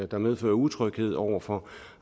der medfører utryghed over for